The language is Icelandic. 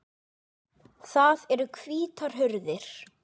Það eru hvítar hurðir.